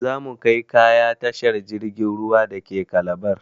Za mu kai kaya tashar jirgin ruwa dake Calabar.